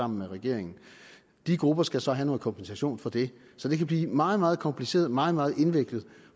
med regeringen de grupper skal så have noget kompensation for det så det kan blive meget meget kompliceret og meget meget indviklet